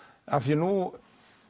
af því nú